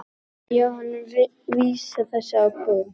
Jóhanna vísar þessu á bug.